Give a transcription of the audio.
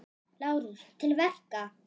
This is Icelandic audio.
LÁRUS: Til verka!